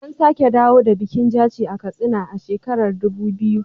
An sake dawo da bikin Jaci a Katsina a shekarar Dubu biyu.